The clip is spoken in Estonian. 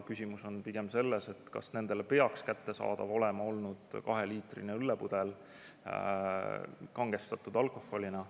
Küsimus on pigem selles, kas nendele peaks olema kättesaadav kaheliitrine õllepudel kangestatud alkoholiga.